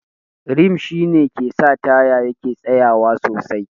Rim shi ne ke sa taya yake tsayawa sosai.